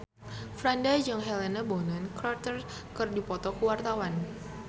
Franda jeung Helena Bonham Carter keur dipoto ku wartawan